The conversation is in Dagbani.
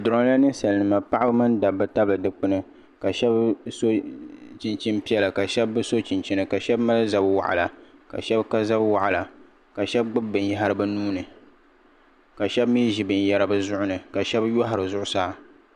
Bɛ duroyi la ninsalinima paɣaba mini dabba tabili dikpini ka shena so chinchini piɛla ka sheba bi so chinchini ka sheba mali zab'waɣala ka sheba ka zab'waɣala ka sheba gbibi binyahari bɛ nuhini ka sheba mee ʒi binyɛra bɛ nuhini ka sheba yɔhari zuɣusaa.